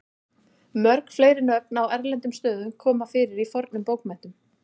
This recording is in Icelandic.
mörg fleiri nöfn á erlendum stöðum koma fyrir í fornum bókmenntum